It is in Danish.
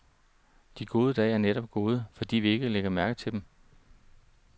De gode dage er netop gode, fordi vi ikke lægger mærke til dem.